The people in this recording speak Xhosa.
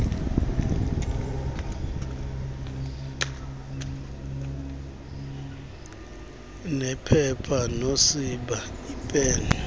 nephepha nosiba iipen